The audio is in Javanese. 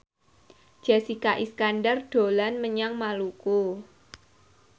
Jessica Iskandar dolan menyang Maluku